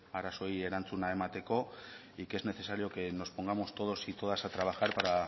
arazoei erantzuna emateko y que es necesario que nos pongamos todos y todas a trabajar para